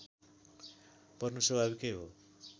पर्नु स्वाभाविकै हो